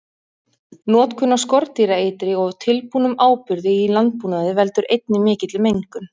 Notkun á skordýraeitri og tilbúnum áburði í landbúnaði veldur einnig mikilli mengun.